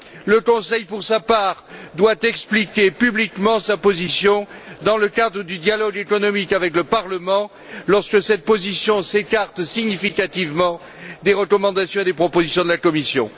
Le Conseil, pour sa part, doit expliquer publiquement sa position dans le cadre du dialogue économique avec le Parlement, lorsque cette position s'écarte significativement des recommandations et des propositions de la Commission.